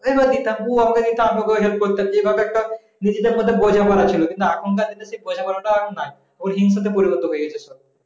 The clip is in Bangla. এনে দিতাম উ আমাকে দিতো আমি ওকে help করতাম যে একটা নিজেদের মধ্যে একটা বোঝাপড়া ছিল এখনকার দিনে সেই বোঝাপড়াটা নাই ওই হিংসা তে পরিবর্তন হয়ে গেছে